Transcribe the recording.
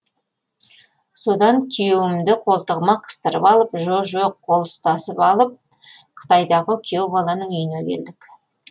содан күйеуімді қолтығыма қыстырып алып жо жоқ қол ұстасып алып қытайдағы күйеу баланың үйіне келдік